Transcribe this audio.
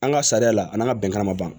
An ka sariya la an' ŋa bɛnkan ma ban